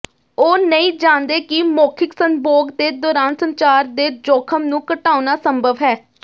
ਉਹ ਨਹੀਂ ਜਾਣਦੇ ਕਿ ਮੌਖਿਕ ਸੰਭੋਗ ਦੇ ਦੌਰਾਨ ਸੰਚਾਰ ਦੇ ਜੋਖਮ ਨੂੰ ਘਟਾਉਣਾ ਸੰਭਵ ਹੈ